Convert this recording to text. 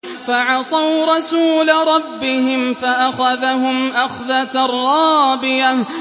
فَعَصَوْا رَسُولَ رَبِّهِمْ فَأَخَذَهُمْ أَخْذَةً رَّابِيَةً